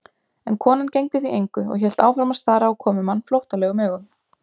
En konan gegndi því engu og hélt áfram að stara á komumann flóttalegum augum.